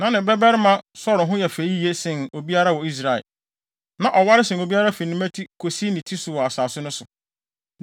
Na ne babarima Saulo ho yɛ fɛ yiye sen obiara wɔ Israel. Na ɔware sen obiara fi ne mmati kosi ne ti so wɔ asase no so.